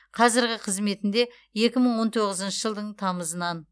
қазіргі қызметінде екі мың он тоғызыншы жылдың тамызынан